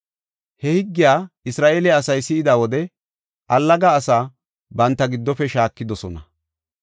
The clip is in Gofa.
He higgiya Isra7eele asay si7ida wode allaga asaa banta giddofe shaakidosona.